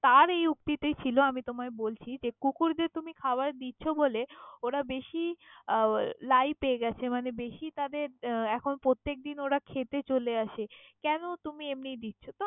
তার এই উক্তি তেই ছিল আমি তোমায় বলছি কুকুর দের তুমি খাবার দিছ বলে ওরা বেশি আহ লাই পেয়ে গেছে মানে বেশি তাদের এখন প্রত্যেক দিন ওরা খেতে চোলে আসে কেন তুমি এমনি দিছ?